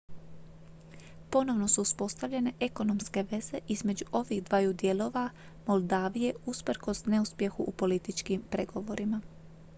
ponovno su uspostavljene ekonomske veze između ovih dvaju dijelova moldavije usprkos neuspjehu u političkim pregovorima